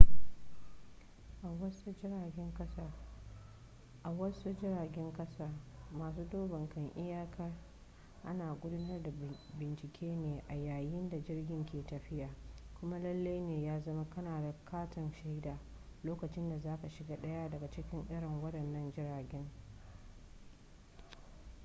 a wasu jiragen kasa masu duban kan iyaka ana gudanar da bincike ne a yayin da jirgin ke tafiya kuma lallai ne ya zama kana da katin shaida lokacin da za ka shiga daya daga cikin irin wadannan jiragen